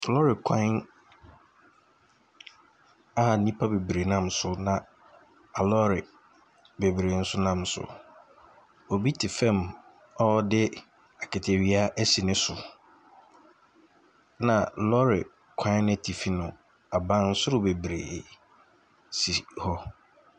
Lorry kwan a nnipa bebiree nam na alɔɔre bebiree nso nam so. Obi te fam a ɔde kataawia asi ne so. Na lorry kwan n’atifi no, abansoro bebiree sisi hɔ.